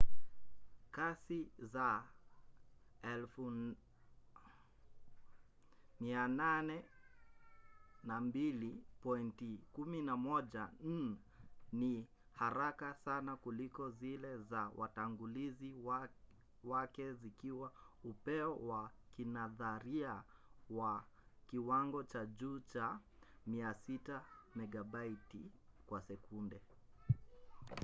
kasi za 802.11n ni haraka sana kuliko zile za watangulizi wake zikiwa upeo wa kinadharia wa kiwango cha juu cha 600mbit/s